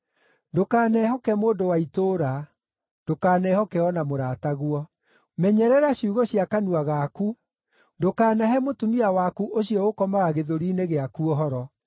Ndũkanehoke mũndũ wa itũũra; ndũkanehoke o na mũrataguo. Menyerera ciugo cia kanua gaku, ndũkaanahe mũtumia waku ũcio ũkomaga gĩthũri‑inĩ gĩaku ũhoro.